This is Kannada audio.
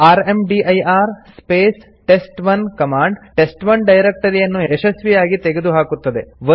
rmdir space test one command test one ಡೈರೆಕ್ಟರಿಯನ್ನು ಯಶಸ್ವಿಯಾಗಿ ತೆಗೆದುಹಾಕುತ್ತದೆ